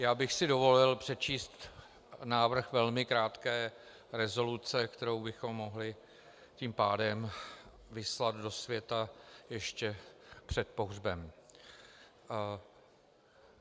Já bych si dovolil přečíst návrh velmi krátké rezoluce, kterou bychom mohli tím pádem vyslat do světa ještě před pohřbem.